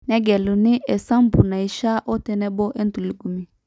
negeluni esampu naishiaa otenebo entulugumi